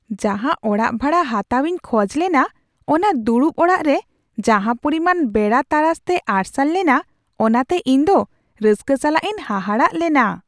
ᱡᱟᱦᱟᱸ ᱚᱲᱟᱜ ᱵᱷᱟᱲᱟ ᱦᱟᱛᱟᱣ ᱤᱧ ᱠᱷᱚᱡᱽ ᱞᱮᱱᱟ ᱚᱱᱟ ᱫᱩᱲᱩᱵ ᱚᱲᱟᱜ ᱨᱮ ᱡᱟᱦᱟᱸ ᱯᱚᱨᱤᱢᱟᱱ ᱵᱮᱲᱟ ᱛᱟᱨᱟᱥᱛᱮ ᱟᱨᱥᱟᱞ ᱞᱮᱱᱟ ᱚᱱᱟᱛᱮ ᱤᱧ ᱫᱚ ᱨᱟᱹᱥᱠᱟᱹ ᱥᱟᱞᱟᱜ ᱤᱧ ᱦᱟᱦᱟᱲᱟᱜ ᱞᱮᱱᱟ ᱾